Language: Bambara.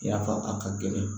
Yafa a ka gɛlɛn